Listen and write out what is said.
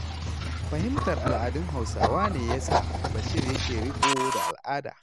Fahimtar al'adun Hausawa ne ya sa Bashir yake riƙo da al'ada.